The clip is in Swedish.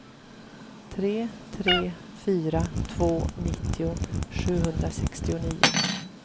tre tre fyra två nittio sjuhundrasextionio